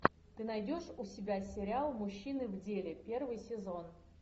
ты найдешь у себя сериал мужчины в деле первый сезон